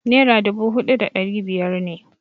Naira dubu huɗu da ɗari biyar ne.